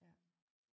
Ja